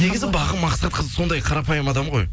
негізі бағым мақсатқызы сондай қарапайым адам ғой